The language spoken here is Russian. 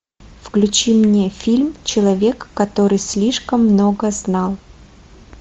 включи мне фильм человек который слишком много знал